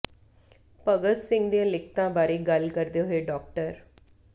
ਭਗਤ ਸਿੰਘ ਦੀਆਂ ਲਿਖਤਾਂ ਬਾਰੇ ਗੱਲ ਕਰਦੇ ਹੋਏ ਡਾ